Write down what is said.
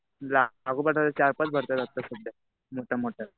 लागोपाठ आता चार-पाच भरत्या लागतात सध्या. ते पण मोठया.